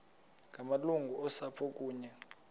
ngamalungu osapho kunye